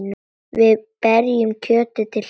Við berjum kjötið til hlýðni.